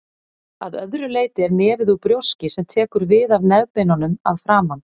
Að öðru leyti er nefið úr brjóski sem tekur við af nefbeinunum að framan.